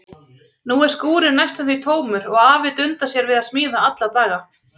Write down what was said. Nú er skúrinn næstum því tómur og afi dundar sér við að smíða alla daga.